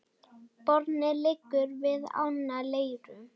Borgin liggur við ána Leiru.